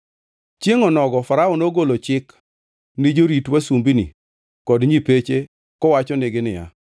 Chiengʼ onogo Farao nogolo chik ni jorit wasumbini kod nyipeche kowachonegi niya,